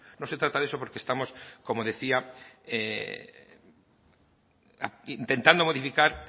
no se trata de eso porque estamos como decía intentando modificar